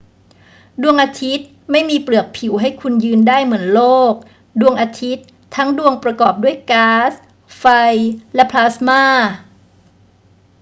ดวงอาทิตย์ไม่มีเปลือกผิวให้คุณยืนได้เหมือนโลก ดวงอาทิตย์ทั้งดวงประกอบด้วยก๊าซ ไฟ และพลาสมา